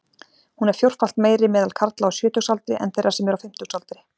Hún er fjórfalt meiri meðal karla á sjötugsaldri en þeirra sem eru á fimmtugsaldri.